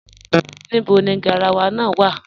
Níbọ̀ ni gáràwà náà wà?